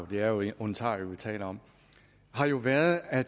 det er jo jo ontario vi taler om har jo været at